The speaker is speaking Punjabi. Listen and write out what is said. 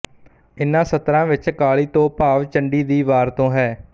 ਇਨ੍ਹਾਂ ਸਤਰਾਂ ਵਿੱਚ ਕਾਲੀ ਤੋਂ ਭਾਵ ਚੰਡੀ ਦੀ ਵਾਰ ਤੋਂ ਹੈ